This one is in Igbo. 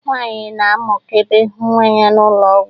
Nwaanyị na-amụkebe nwa ya n'ụlọ ọgwụ.